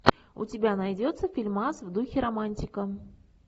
у тебя найдется фильмас в духе романтика